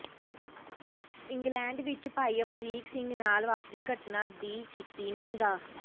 England ਵਿੱਚ ਭਾਈ ਅਮਰੀਕ ਸਿੰਘ ਨਾਲ ਵਾਪਰੀ ਘਟਨਾ ਦੀ ਕੀਤੀ ਨਿੰਦਾ